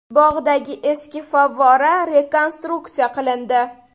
Bog‘dagi eski favvora rekonstruksiya qilindi.